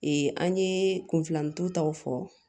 an ye kun filanin taw fɔ